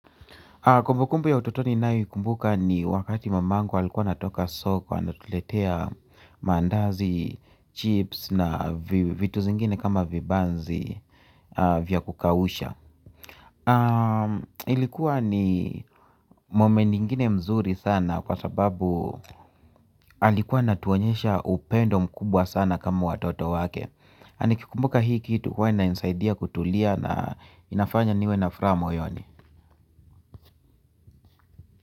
Kumbu kumbu ya utotoni nayoikumbuka ni wakati mamangu alikuwa anatoka soko anatuletea mandazi, chips na vitu zingine kama vibanzi vya kukausha. Ilikuwa ni moment ingine mzuri sana kwa sababu alikuwa anatuonyesha upendo mkubwa sana kama watoto wake. Anikikumbuka hii kitu huwa inanisaidia kutulia na inafanya niwe na furaha moyoni.